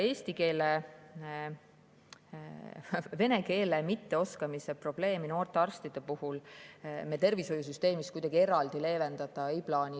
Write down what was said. Vene keele mitteoskamise probleemi noorte arstide puhul meie tervishoiusüsteemis me kuidagi eraldi leevendada ei plaani.